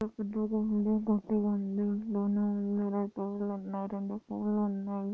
పెద్దగా ఉంది కొత్తగా ఉంది పులున్నాయ్ రెండు పొల్లున్నాయ్.